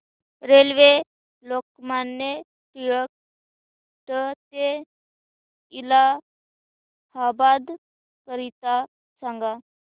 railway Lokmanya Tilak ट ते इलाहाबाद करीता सांगा